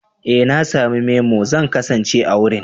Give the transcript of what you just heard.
Ee na sami memo, zan kasance a wurin.